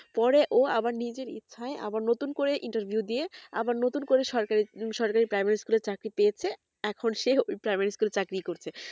পরে ও আবার নিজের ইচ্ছেই আবার নতুন করে interview দিয়ে আবার নতুন করে সরকারি সরকারি primary school এ চাকরি পেয়েছে এখন সে primary school এ চাকরি করছে